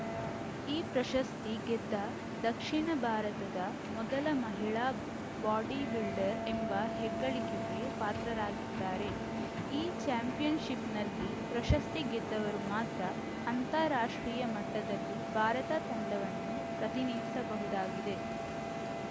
ಈ ಪ್ರಶಸ್ತಿ ಗೆದ್ದ ದಕ್ಷಿಣ ಭಾರತದ ಮೊದಲ ಮಹಿಳಾ ಬಾಡಿಬಿಲ್ಡರ್‌ ಎಂಬ ಹೆಗ್ಗಳಿಕೆಗೆ ಪಾತ್ರರಾಗಿದ್ದಾರೆ ಈ ಚಾಂಪಿಯನ್‌ಶಿಪ್‌ನಲ್ಲಿ ಪ್ರಶಸ್ತಿ ಗೆದ್ದವರು ಮಾತ್ರ ಅಂತರ ರಾಷ್ಟ್ರೀಯ ಮಟ್ಟದಲ್ಲಿ ಭಾರತ ತಂಡವನ್ನು ಪ್ರತಿನಿಧಿಸಬಹುದಾಗಿದೆ